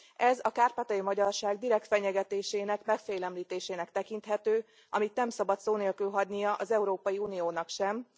Ez a kárpátaljai magyarság direkt fenyegetésének, megfélemlítésének tekinthető, amit nem szabad szó nélkül hagynia az Európai Uniónak sem.